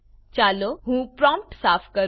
ચાલો હું પ્રોમ્પ્ટ સાફ કરું